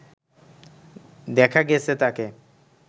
দেখা গেছে তাকে